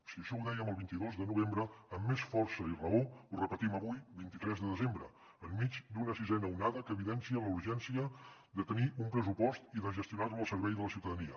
si això ho dèiem el vint dos de novembre amb més força i raó ho repetim avui vint tres de desembre enmig d’una sisena onada que evidencia la urgència de tenir un pressupost i de gestionar lo al servei de la ciutadania